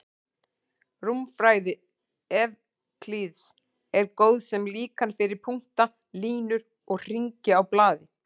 Rúmfræði Evklíðs er góð sem líkan fyrir punkta, línur og hringi á blaði.